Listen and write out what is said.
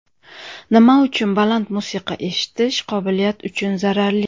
Nima uchun baland musiqa eshitish qobiliyati uchun zararli?.